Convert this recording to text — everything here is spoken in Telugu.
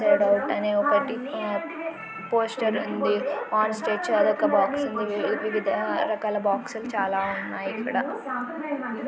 అనే ఒకటి పోస్ట్ బాక్స్ ఉంది . రకరకాల బాక్స్ లు చాలా ఉన్నాయి ఇక్కడ.